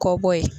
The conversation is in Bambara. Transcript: Kɔ bɔ ye